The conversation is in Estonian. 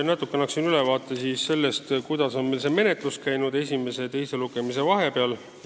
Natuke räägin siis sellest, kuidas on menetlus käinud esimese ja teise lugemise vahepeal.